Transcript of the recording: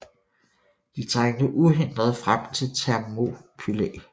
De trængte uhindret frem til Thermopylæ